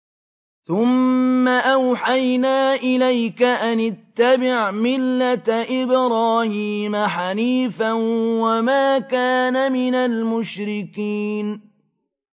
ثُمَّ أَوْحَيْنَا إِلَيْكَ أَنِ اتَّبِعْ مِلَّةَ إِبْرَاهِيمَ حَنِيفًا ۖ وَمَا كَانَ مِنَ الْمُشْرِكِينَ